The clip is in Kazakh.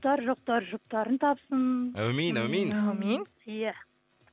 жұптары жоқтар жұптарын тапсын әумин әумин әумин иә